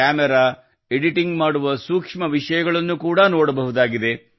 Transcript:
camera editing ಮಾಡುವ ಸೂಕ್ಷ್ಮ ವಿಷಯಗಳನ್ನು ಕೂಡ ನೋಡಬಹುದಾಗಿದೆ